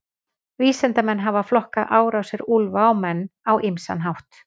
Vísindamenn hafa flokkað árásir úlfa á menn á ýmsan hátt.